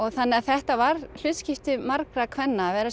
þannig að þetta var hlutskipti margra kvenna að vera